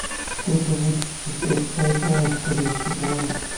сколько будет шестьсот бальбоа в корейских вонах